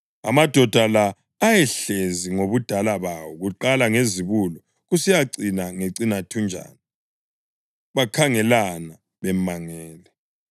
Amadoda la ayehlezi ngobudala bawo kuqala ngezibulo kusiyacina ngecinathunjana; bakhangelana bemangele.